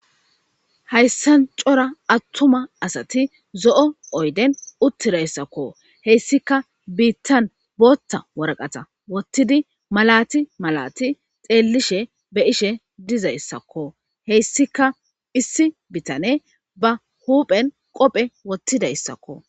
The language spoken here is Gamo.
Hayssan cora attuma asati zo'o oyden uttidayssakko heyssika biittan bootta warqata wottidi malati malati xeellishe be ishe dizayssakko heyssika issi bitane ba huuphen qophe wottidayssakko